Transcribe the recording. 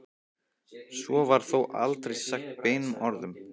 Svo var þó aldrei sagt beinum orðum.